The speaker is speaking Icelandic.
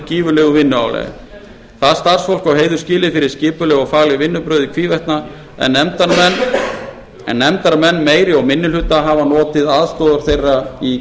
gífurlegu vinnuálagi það starfsfólk á heiður skilið fyrir skipuleg og fagleg vinnubrögð í hvívetna en nefndarmenn meiri og minni hluta hafa notið aðstoðar þeirra í